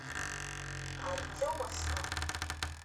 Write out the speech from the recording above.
артемовском